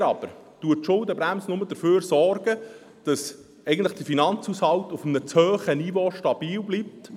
Leider aber sorgt die Schuldenbremse nur dafür, dass eigentlich der Finanzhaushalt auf einem zu hohen Niveau stabil bleibt.